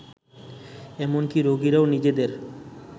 এমনকি রোগীরাও নিজেদের